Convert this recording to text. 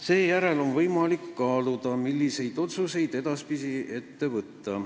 Seejärel on võimalik kaaluda, milliseid otsuseid edaspidi ette võtta.